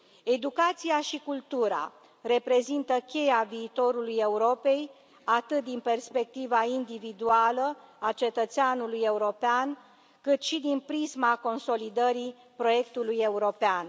Educația și cultura reprezintă cheia viitorului Europei, atât din perspectiva individuală a cetățeanului european, cât și din prisma consolidării proiectului european.